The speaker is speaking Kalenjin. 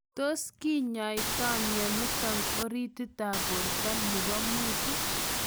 Tos kinyaitaa mionitok oritit ap porto nepoo muut?